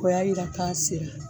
O y'a yira k'a sera.